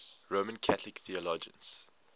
roman catholic theologians